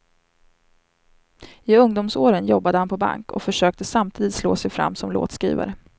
I ungdomsåren jobbade han på bank och försökte samtidigt slå sig fram som låtskrivare.